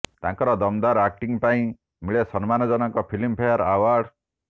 ତାଙ୍କର ଦମଦାର ଆକଟିଙ୍ଗ୍ ପାଇଁ ମିଳେ ସମ୍ମାନ ଜନକ ଫିଲ୍ମ ଫେୟାର ଆୱାର୍ଡ